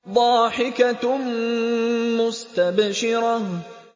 ضَاحِكَةٌ مُّسْتَبْشِرَةٌ